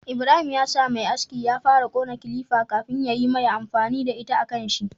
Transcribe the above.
Ibrahim ya sa Me aski ya fara kona kilifa kafin yayi mai amfani da ita a kanshi